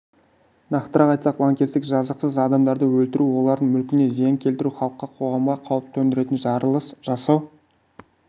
нақтырақ айтсақ лаңкестік жазықсыз адамдарды өлтіру олардың мүлкіне зиян келтіру халыққа қоғамға қауіп төндіретін жарылыс жасау